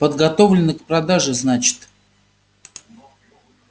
подготовлено к продаже значит